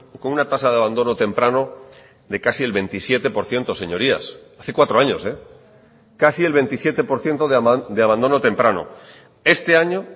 con una tasa de abandono temprano de casi el veintisiete por ciento señorías hace cuatro años casi el veintisiete por ciento de abandono temprano este año